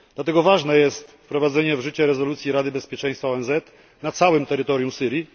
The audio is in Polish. Dlatego ważne jest wprowadzenie w życie rezolucji Rady Bezpieczeństwa ONZ na całym terytorium Syrii.